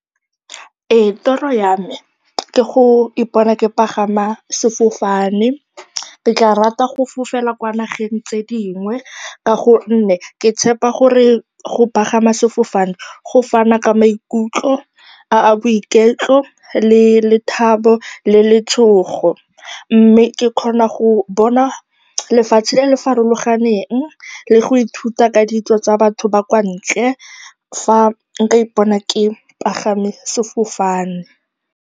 Ee, toro ya me ke go ipona ke pagama sefofane. Ke tla rata go fofela kwa nageng tse dingwe ka gonne ke tshepa gore go pagama sefofane go fana ka maikutlo a a boiketlo le lethabo le letshogo, mme ke kgona go bona lefatshe le le farologaneng le go ithuta ka ditso tsa batho ba kwa ntle, fa nka ipona ke pagame sefofane.